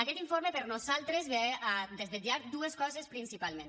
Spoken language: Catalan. aquest informe per nosaltres ve a desvetllar dues coses principalment